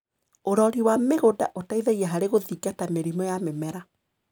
ũrori wa mĩgunda ũteithagia harĩ gũthingata mĩrimũ ya mĩmera.